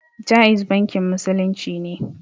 Jaiz bankin musulunci ne